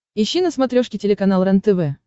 ищи на смотрешке телеканал рентв